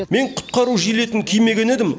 мен құтқару жилетін кимеген едім